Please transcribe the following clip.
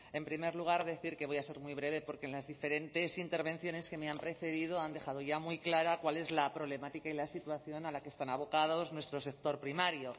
en primer lugar decir que voy a ser muy breve porque en las diferentes intervenciones que me han precedido han dejado ya muy clara cuál es la problemática y la situación a la que está abocado nuestro sector primario